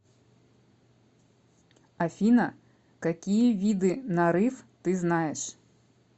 афина какие виды нарыв ты знаешь